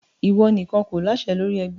Ìwọ nìkan kò láṣẹ lórí ẹgbẹ́!